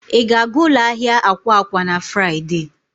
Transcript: Ị ga-aga ụlọ ahịa akwa akwa na Fraịde?